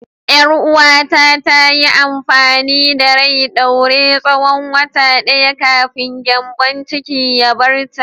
Yar uwata ta yi amfani da rai ɗaure tsawon wata ɗaya kafin gyambon cikin ya bar ta.